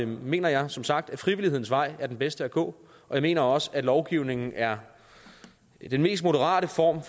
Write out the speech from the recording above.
mener jeg som sagt at frivillighedens vej er den bedste at gå og jeg mener også at lovgivningen er den mest moderate form